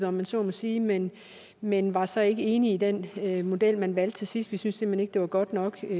om man så må sige men men var så ikke enige i den model man valgte til sidst vi synes simpelt hen ikke det var godt nok